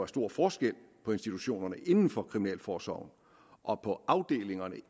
stor forskel på institutionerne inden for kriminalforsorgen og på afdelingerne